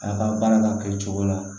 A ka baara ka kɛ cogo la